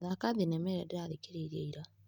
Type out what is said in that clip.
Thaka thinema ĩrĩa ndĩrathikĩrĩirie ira.